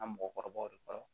An mɔgɔkɔrɔbaw de kɔnɔ